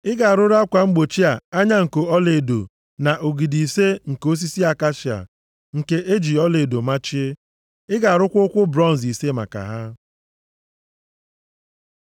Ị ga-arụrụ akwa mgbochi a anya nko ọlaedo na ogidi ise nke osisi akashia nke e ji ọlaedo machie. Ị ga-arụkwa ụkwụ bronz ise maka ha.